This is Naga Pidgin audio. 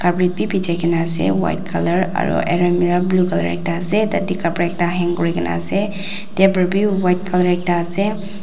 kaena ase white colour aru alemara blue colour ekta ase tatae ekta kapra hang kurikaena ase table bi ekta white colour ekta ase.